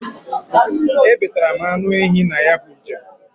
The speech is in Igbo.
E betara m anụ ehi na ya bu njem.